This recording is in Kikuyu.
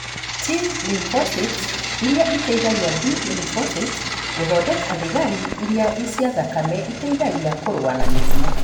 T lymphocytes iria iteithagia B lymphocytes gũthondeka thigari cia thakame iria iteithagia kũrũa na mĩrimũ